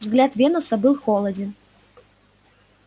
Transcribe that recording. взгляд венуса был холоден